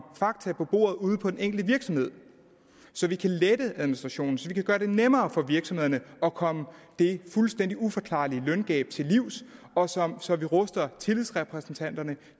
fakta på bordet ude på den enkelte virksomhed så vi kan lette administrationen så vi kan gøre det nemmere for virksomhederne at komme det fuldstændig uforklarlige løngab til livs og så vi ruster tillidsrepræsentanterne